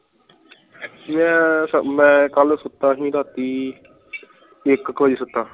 ਮੈਂ ਤਾਂ ਮੈਂ ਕਲ ਸੁਤਾ ਸੀ ਰਾਤੀ ਇਕ ਕ ਬਜੇ ਸੁਤਾ